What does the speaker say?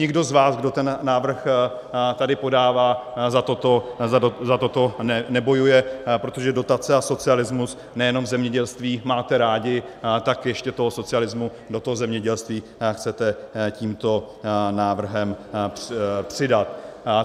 Nikdo z vás, kdo ten návrh tady podává, za toto nebojuje, protože dotace a socialismus nejenom v zemědělství máte rádi, tak ještě toho socialismu do toho zemědělství chcete tímto návrhem přidat.